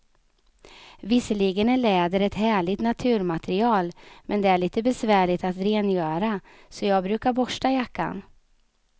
Visserligen är läder ett härligt naturmaterial, men det är lite besvärligt att rengöra, så jag brukar borsta jackan.